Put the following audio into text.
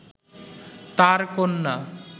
তার কন্যা